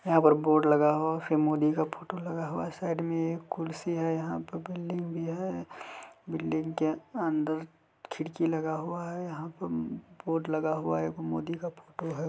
यहां पर बोर्ड लगा हुआ है। फिर मोदी का फोटो लगा हुआ है। साइड में कुर्सी है। यहां पर बिल्डिंग भी है। बिल्डिंग के अंदर खिड़की लगा हुआ है। यहां पे बोर्ड लगा हुआ है। एगो मोदी का फोटो है।